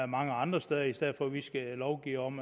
mange andre steder i stedet for at vi skal lovgive om